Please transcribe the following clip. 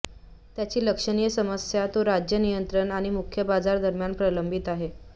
त्याची लक्षणीय समस्या तो राज्य नियंत्रण आणि मुक्त बाजार दरम्यान प्रलंबित आहे